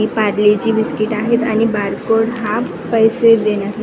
हे Parle G biscuit आहेत आणि बारकोड हा पैसे देण्यासा --